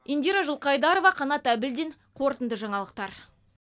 индира жылқайдарова қанат әбілдин қорытынды жаңалықтар